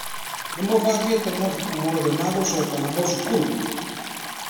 Nĩ mũbangĩte mabuku mothe ma gũcoka namo cukuru?